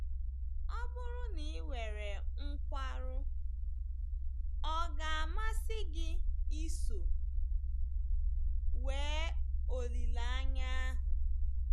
Ọ bụrụ na i nwere nkwarụ, ọ̀ ga - amasị gị iso nwee olileanya ahụ?